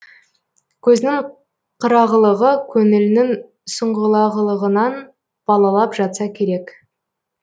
көзінің қырағылығы көңілінің сұңғылағылығынан балалап жатса керек